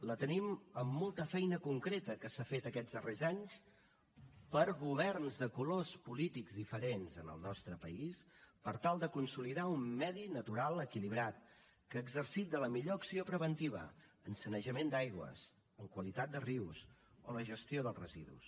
la tenim amb molta feina concreta que s’ha fet aquests darrers anys per governs de colors polítics diferents en el nostre país per tal de consolidar un medi natural equilibrat que ha exercit la millor acció preventiva en sanejament d’aigües en qualitat de rius o en la gestió dels residus